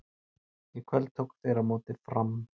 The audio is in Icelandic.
Í kvöld tóku þeir á móti Fram.